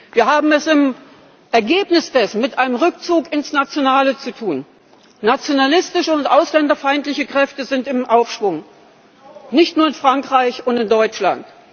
Wir haben es im Ergebnis dessen mit einem Rückzug ins Nationale zu tun, nationalistische und ausländerfeindliche Kräfte sind im Aufschwung, nicht nur in Frankreich und in Deutschland.